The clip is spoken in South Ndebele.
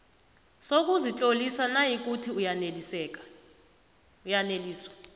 sokuzitlolisa nayikuthi uyaneliswa